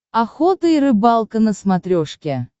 охота и рыбалка на смотрешке